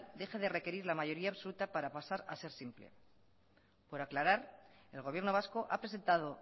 deje de requerir la mayoría absoluta para pasar a ser simple por aclarar el gobierno vasco ha presentado